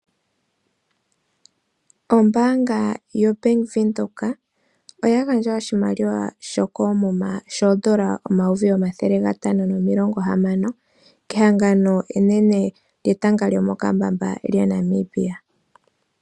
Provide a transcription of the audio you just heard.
Ombaanga yo Bank Widhoek oya gandja oshimaliwa koomuma shoondola shomayovi omathele gatano nomilongo hamano, kehangano enene lyetanga lyo mokambamba lya Namibia.